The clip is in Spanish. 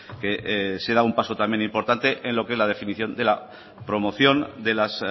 que se da un paso también importante en lo que la definición de la promoción de las